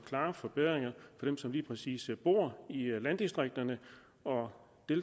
klare forbedringer for dem som lige præcis bor i landdistrikterne og